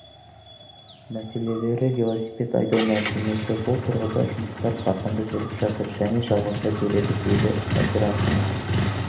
мәселелері велосипед айдау мәдениеті бұл тұрғыда жұмыстар қарқынды жүріп жатыр және жалғаса береді дейді әбдірахымов